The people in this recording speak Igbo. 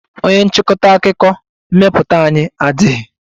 Onye nchịkọta akụkọ mmepụta anyị adịghị.